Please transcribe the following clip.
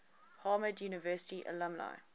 harvard university alumni